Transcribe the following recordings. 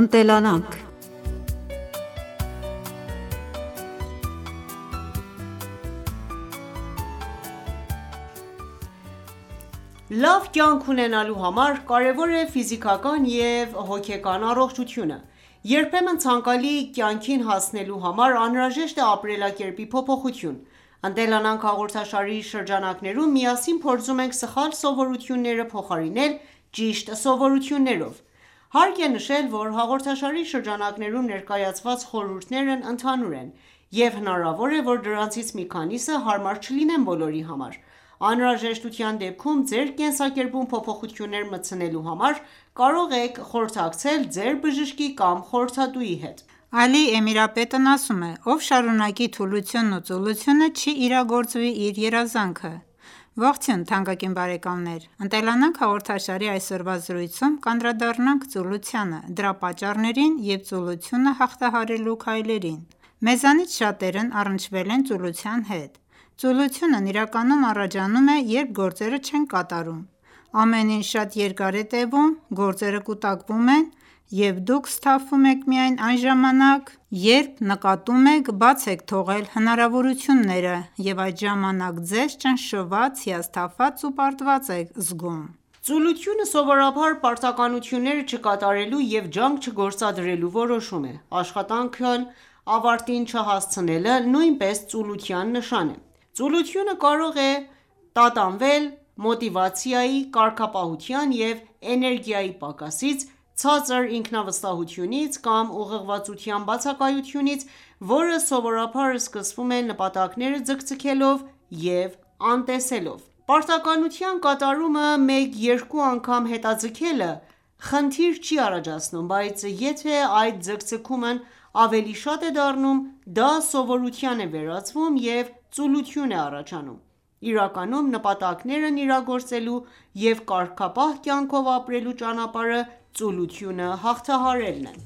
Ընտելանանք Լավ կյանք ունենալու համար կարևոր է ֆիզիկական և հոգեկան առողջությունը։ Երբեմն ցանկալի կյանքին հասնելու համար անհրաժեշտ է ապրելակերպի փոփոխություն։ «Ընտելանանք» հաղորդաշարի շրջանակներում միասին փորձում ենք սխալ սովորությունները փոխարինել ճիշտ սովորություններով: Հարկ է նշել, որ հաղորդաշարի շրջանակներում ներկայացված խորհուրդներն ընդհանուր են, և հնարավոր է, որ դրանցից մի քանիսը հարմար չլինեն բոլորի համար: Անհրաժեշտության դեպքում ձեր կենսակերպում փոփոխություններ մտցնելու համար կարող եք խորհրդակցել ձեր բժշկի կամ խորհրդատուի հետ: Ալի Էմիրապետն ասում է.«Ով շարունակի թուլությունն ու ծուլությունը, չի իրագործվի իր երազանքը»: Ողջույն թանկագին բարեկամներ: «Ընտելանանք» հաղորդաշարի այսօրվա զրույցում կանդրադառնանք ծուլությանը, դրա պատճառներին և ծուլությունը հաղթահարելու քայլերին: Մեզնից շատերն առնչվել են ծուլության հետ: Ծուլությունն իրականում առաջանում է, երբ գործերը չեք կատարում: Ամեն ինչ շատ երկար է տևում, գործերը կուտակվում են, և դուք սթափվում եք միայն այն ժամանակ, երբ նկատում եք բաց եք թողել հնարավորությունները, և այդ ժամանակ ձեզ ճնշված, հիասթափված ու պարտված եք զգում: Ծուլությունը սովորաբար պարտականությունները չկատարելու և ջանք չգործադրելու որոշում է: Աշխատանքն ավարտին չհասցնելը նույնպես ծուլության նշան է։ Ծուլությունը կարող է տատանվել մոտիվացիայի, կարգապահության և էներգիայի պակասից, ցածր ինքնավստահությունից, կամ ուղղորդվածության բացակայությունից, որը սովորաբար սկսվում է նպատակները ձգձգելով և անտեսելով: Պարտականության կատարումը մեկ-երկու անգամ հետաձգելը խնդիր չի առաջացնում, բայց եթե այդ ձգձգումն ավելի շատ է դառնում, դա սովորության է վերածվում և ծուլություն է առաջանում։ Իրականում նպատակներն իրագործելու և կարգապահ կյանքով ապրելու ճանապարհը ծուլությունը հաղթահարելն է։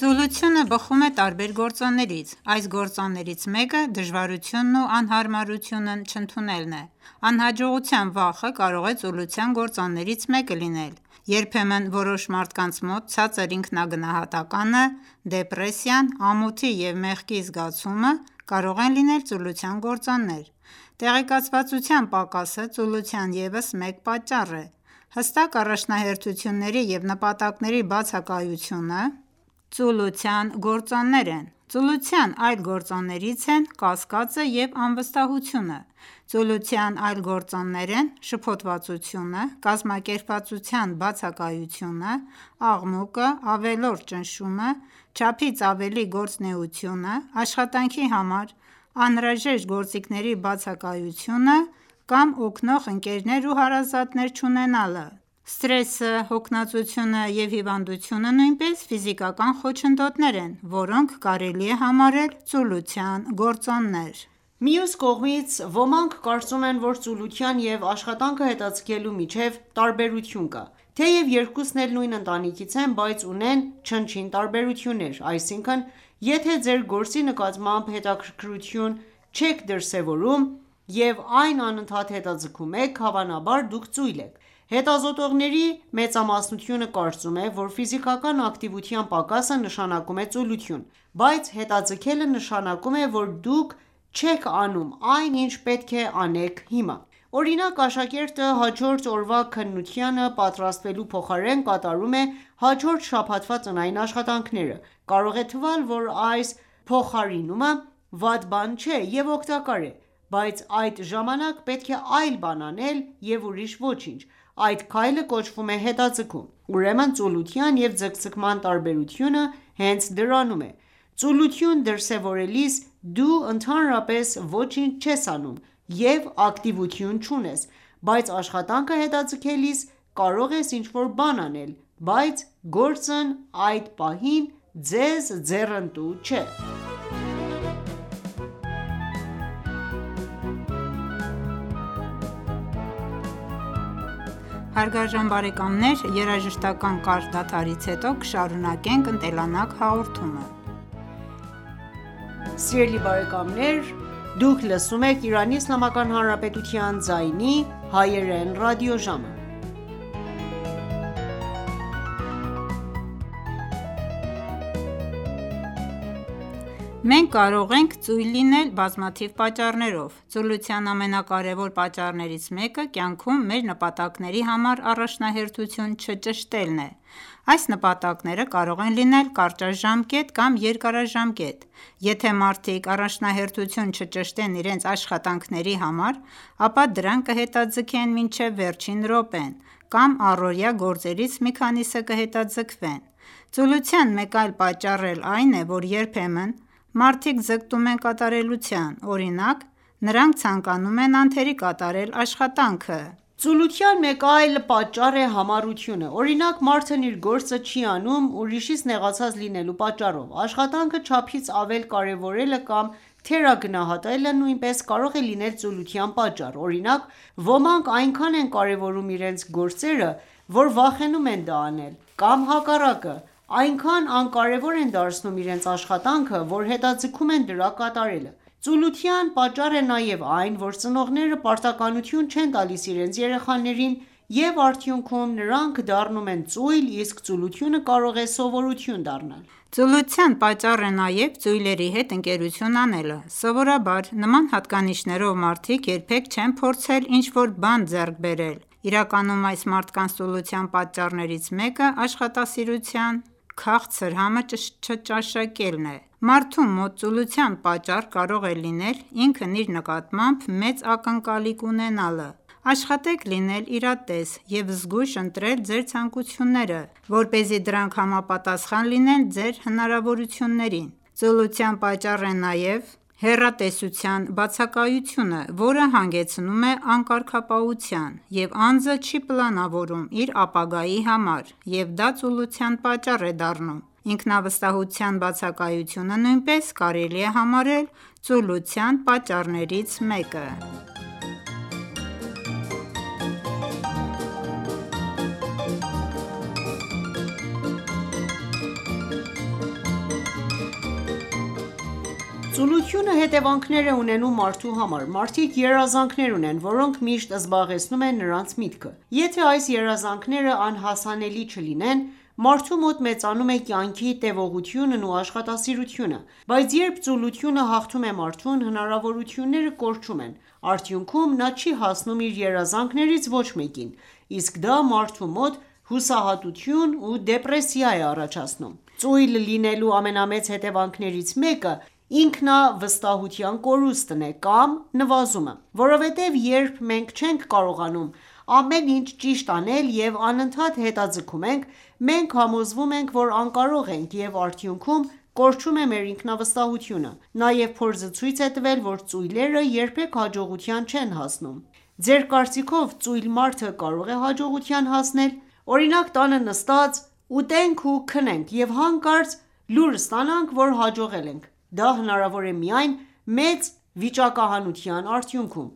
Ծուլությունը բխում է տարբեր գործոններից։ Այս գործոններից մեկը դժվարությունն ու անհարմարությունն չընդունելն է: Անհաջողության վախը կարող է ծուլության գործոններից մեկը լինել: Երբեմն որոշ մարդկանց մոտ ցածր ինքնագնահատականը, դեպրեսիան, ամոթի և մեղքի զգացումը կարող են լինել ծուլության գործոններ: Տեղեկացվածության պակասը ծուլության ևս մեկ պատճառ է։ Հստակ առաջնահերթությունների և նպատակների բացակայությունը ծուլության գործոններ են։ Ծուլության այլ գործոններից են կասկածը և անվստահությունը։ Ծուլության այլ գործոններ են շփոթվածությունը, կազմակերպվածության բացակայությունը, աղմուկը, ավելորդ ճնշումը, չափից ավելի գործունեությունը, աշխատանքի համար անհրաժեշտ գործիքների բացակայությունը կամ օգնող ընկերներ ու հարազատներ չունենալը: Սթրեսը, հոգնածությունը և հիվանդությունը նույնպես ֆիզիկական խոչընդոտներ են, որոնք կարելի է համարել ծուլության գործոններ։ Մյուս կողմից, ոմանք կարծում են, որ ծուլության և աշխատանքը հետաձգելու միջև տարբերություն կա։ Թեև երկուսն էլ նույն ընտանիքից են, բայց ունեն չնչին տարբերություններ։ Այսինքն, եթե ձեր գործի նկատմամբ հետաքրքրություն չեք դրսևորում և այն անընդհատ հետաձգում եք, հավանաբար, դուք ծույլ եք։ Հետազոտողների մեծամասնությունը կարծում է, որ ֆիզիկական ակտիվության պակասը նշանակում է ծուլություն։ Բայց հետաձգելը նշանակում է, որ դուք չեք անում այն, ինչ պետք է անեք հիմա: Օրինակ՝ աշակերտը հաջորդ օրվա քննությանը պատրաստվելու փոխարեն կատարում է հաջորդ շաբաթվա տնային աշխատանքները: Կարող է թվալ, որ այս փոխարինումը վատ բան չէ և օգտակար է։ Բայց այդ ժամանակ պետք է այլ բան անել և ուրիշ ոչինչ... Այդ քայլը կոչվում է հետաձգում: Ուրեմն ծուլության և ձգձգման տարբերությունը հենց դրանում է, ծուլություն դրսևորելիս դու ընդհանրապես ոչինչ չես անում և ակտիվություն չունես, բայց աշխատանքը հետաձգելիս կարող ես ինչ-որ բան անել, բայց գործն այդ պահին քեզ ձեռնտու չէ։ Մենք կարող ենք ծույլ լինել բազմաթիվ պատճառներով։ Ծուլության ամենակարևոր պատճառներից մեկը կյանքում մեր նպատակների համար առաջնահերթություն չճշտելն է: Այս նպատակները կարող են լինել կարճաժամկետ կամ երկարաժամկետ: Եթե մարդիկ առաջնահերթություն չճշտեն իրենց աշխատանքների համար, ապա դրանք կհետաձգեն մինչև վերջին րոպեն կամ առօրյա գործերից մի քանիսը կհետաձգվեն: Ծուլության մեկ այլ պատճառ էլ այն է, որ երբեմն մարդիկ ձգտում են կատարելության։ Օրինակ՝ նրանք ցանկանում են անթերի կատարել աշխատանքը։ Ծուլության մեկ այլ պատճառ է համառությունը: Օրինակ՝ մարդն իր գործը չի անում ուրիշից նեղացած լինելու պատճառով։ Աշխատանքը չափից ավել կարևորելը կամ թերագնահատելը նույնպես կարող է լինել ծուլության պատճառ, օրինակ՝ ոմանք այնքան են կարևորում իրենց գործերը, որ վախենում են դա անել, կամ հակառակը՝ այնքան անկարևոր են դարձնում իրենց աշխատանքը, որ հետաձգում են դրա կատարելը։ Ծուլության պատճառ է նաև այն, որ ծնողները պարտականություն չեն տալիս իրենց երեխաներին և արդյունքում նրանք դառնում են ծույլ, իսկ ծուլությունը կարող է սովորություն դառնալ։ Ծուլության պատճառ է նաև ծույլերի հետ ընկերություն անելը: Սովորաբար նման հատկանիշներով մարդիկ երբեք չեն փորձել ինչ-որ բան ձեռք բերել, իրականում այս մարդկանց ծուլության պատճառներից մեկը աշխատասիրության քաղցր համը չճաշակելն է։ Մարդու մոտ ծուլության պատճառ կարող է լինել ինքն իր նկատմամբ մեծ ակնկալիք ունենալը: Աշխատեք լինել իրատես և զգույշ ընտրել ձեր ցանկությունները, որպեսզի դրանք համապատասխան լինեն ձեր հնարավորություններին: Ծուլության պատճառ է նաև հեռատեսության բացակայությունը, որը հանգեցնում է անկարգապահության, և անձը չի պլանավորում իր ապագայի համար, և դա ծուլության պատճառ է դառնում: Ինքնավստահության բացակայությունը նույնպես կարելի է համարել ծուլության պատճառներից մեկը։ Ծուլությունը հետևանքներ է ունենում մարդու համար. Մարդիկ երազանքներ ունեն, որոնք միշտ զբաղեցնում են նրանց միտքը: Եթե այս երազանքները անհասանելի չլինեն, մարդու մոտ մեծանում է կյանքի տեւողությունն ու աշխատասիրությունը: Բայց երբ ծուլությունը հաղթում է մարդուն, հնարավորությունները կորչում են, արդյունքում նա չի հասնում իր երազանքներից ոչ մեկին, իսկ դա մարդու մոտ հուսահատություն ու դեպրեսիա է առաջացնում։ Ծույլ լինելու ամենամեծ հետևանքներից մեկը ինքնավստահության կորուստն է կամ նվազումը: Որովհետև երբ մենք չենք կարողանում ամեն ինչ ճիշտ անել և անընդհատ հետաձգում ենք, մենք համոզվում ենք, որ անկարող ենք և արդյունքում կորչում է մեր ինքնավստահությունը: Նաև փորձը ցույց է տվել, որ ծույլերը երբեք հաջողության չեն հասնում։ Ձեր կարծիքով ծույլ մարդը կարո՞ղ է հաջողության հասնել: Օրինակ, տանը նստած ուտենք ու քնենք, և հանկարծ լուր ստանանք, որ հաջողել ենք: Դա հնարավոր է միայն մեծ վիճակահանության արդյունքում,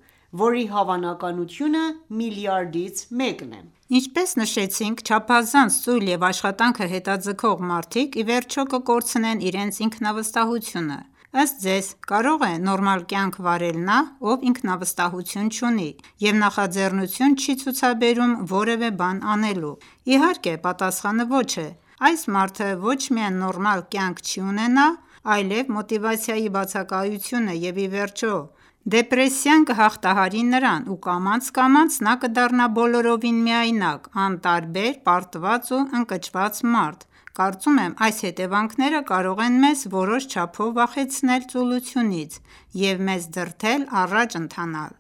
որի հավանականությունը միլիարդից մեկ է: Ինչպես նշեցինք, չափազանց ծույլ և աշխատանքը հետաձգող մարդիկ ի վերջո կկորցնեն իրենց ինքնավստահությունը։ Ըստ Ձեզ, կարո՞ղ է նորմալ կյանք վարել նա, ով ինքնավստահություն չունի և նախաձեռնություն չի ցուցաբերում որևէ բան անելու։ Իհարկե, պատասխանը ոչ է: Այս մարդը ոչ միայն նորմալ կյանք չի ունենա, այլեւ մոտիվացիայի բացակայությունը, և ի վերջո, դեպրեսիան կհաղթահարի նրան ու կամաց-կամաց նա կդառնա բոլորովին միայնակ, անտարբեր, պարտված ու ընկճված մարդ։ Կարծում եմ՝ այս հետևանքները կարող են մեզ որոշ չափով վախեցնել ծուլությունից և մեզ դրդել առաջ ընթանալ: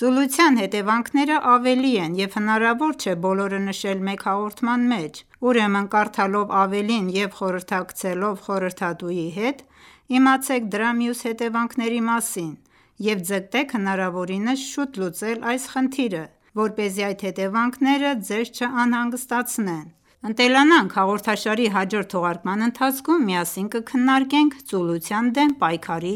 Ծուլության հետեւանքներն ավելին են եւ հնարավոր չէ բոլորը նշել մեկ հաղորդման մեջ։ Ուրեմն, կարդալով ավելին և խորհրդակցելով խորհրդատուի հետ, իմացեք դրա մյուս հետևանքների մասին և ձգտեք հնարավորինս շուտ լուծել այս խնդիրը, որպեսզի այդ հետևանքները ձեզ չանհանգստացնեն: «Ընտելանանք» հաղորդաշարի հաջորդ թողարկման ընթացքում, միասին կքննարկենք ծուլության դեմ պայքարի